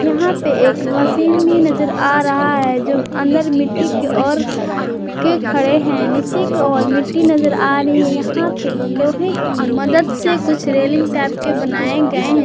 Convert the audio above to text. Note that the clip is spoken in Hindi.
यहां पे एक मशीन भी नजर आ रहा है जो अंदर मिट्टी के ओर के खड़े हैं नीचे की ओर मिट्टी नजर आ रही है यहां पे लोहे की मदद से कुछ रेलिंग टाइप के बनाए गए हैं।